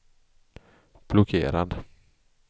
blockerad